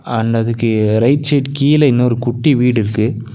And அதுக்கு right side கீழ இன்னொரு குட்டி வீடிருக்கு.